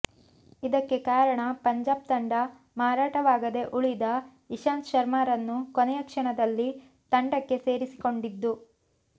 ಇದಕ್ಕೆ ಕಾರಣ ಪಂಜಾಬ್ ತಂಡ ಮಾರಾಟವಾಗದೇ ಉಳಿದ ಇಶಾಂತ್ ಶರ್ಮಾರನ್ನು ಕೊನೆಯ ಕ್ಷಣದಲ್ಲಿ ತಂಡಕ್ಕೆ ಸೇರಿಸಿಕೊಂಡಿದ್ದು